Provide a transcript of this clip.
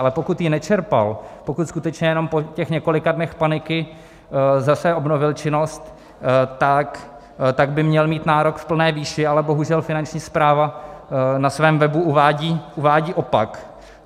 Ale pokud ji nečerpal, pokud skutečně jenom po těch několika dnech paniky zase obnovil činnost, tak by měl mít nárok v plné výši, ale bohužel Finanční správa na svém webu uvádí opak.